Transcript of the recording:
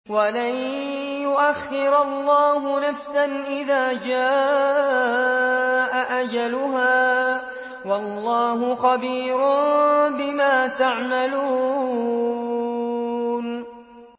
وَلَن يُؤَخِّرَ اللَّهُ نَفْسًا إِذَا جَاءَ أَجَلُهَا ۚ وَاللَّهُ خَبِيرٌ بِمَا تَعْمَلُونَ